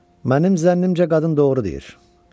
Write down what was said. Mənim zənnimcə qadın doğru deyir.